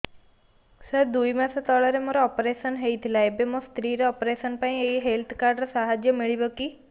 ସାର ଦୁଇ ମାସ ତଳରେ ମୋର ଅପେରସନ ହୈ ଥିଲା ଏବେ ମୋ ସ୍ତ୍ରୀ ର ଅପେରସନ ପାଇଁ ଏହି ହେଲ୍ଥ କାର୍ଡ ର ସାହାଯ୍ୟ ମିଳିବ କି